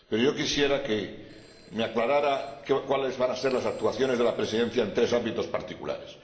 Pero yo quisiera que me aclarara cuáles van a ser las actuaciones de la Presidencia en tres ámbitos particulares.